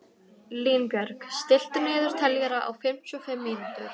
Línbjörg, stilltu niðurteljara á fimmtíu og fimm mínútur.